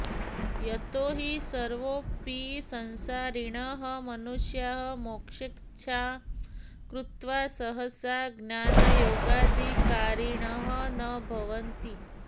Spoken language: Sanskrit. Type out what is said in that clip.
यतो हि सर्वेऽपि संसारिणः मनुष्याः मोक्षेच्छां कृत्वा सहसा ज्ञानयोगाधिकारिणः न भवन्ति